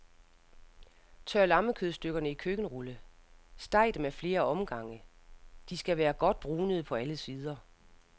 Tør lammekødstykkerne i køkkenrulle, steg dem af flere omgange,, de skal være godt brunede på alle sider.